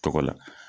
Tɔgɔ la